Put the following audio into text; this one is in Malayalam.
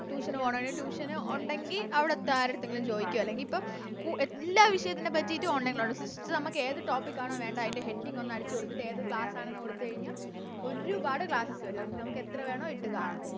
Tution പോണാണെങ്കി Tution ഒണ്ടെങ്കി അവരെടുത്ത് ആരെടുത്തെങ്കിലും ചോദിക്ക അല്ലെങ്കി ഇപ്പൊ എല്ലാ വിഷയത്തിനെ പറ്റിട്ടും Online ഇപ്പൊ നമുക്ക് ഏത് Topic ആണോ വേണ്ടേ അയിൻറെ Heading ഒന്ന് അടിച്ച് കൊടുത്തിട്ട് ഏത് Class ആണെന്ന് കൊടുത്ത് കഴിഞ്ഞ ഒരുപാട് Classes വരും അപ്പൊ നമുക്ക് എത്ര വേണോ ഇട്ട് കാണാം